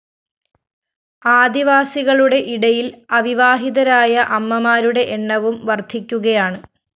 ആദിവാസികളുടെ ഇടയില്‍ അവിവാഹിതരായ അമ്മമാരുടെ എണ്ണവും വര്‍ധിക്കുകയാണ്